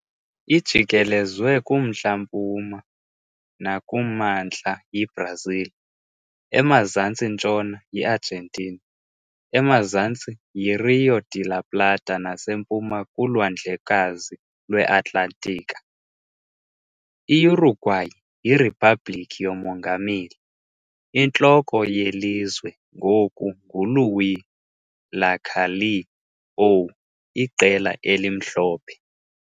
Ijikelezwe kumntla-mpuma nakumantla yiBrazil, emazantsi-ntshona yiArgentina, emazantsi yiRío de la Plata nasempuma kuLwandlekazi lweAtlantiki. I-Uruguay yiriphabliki yomongameli, intloko yelizwe ngoku nguLuís Lacalle Pou Iqela eliMhlophe.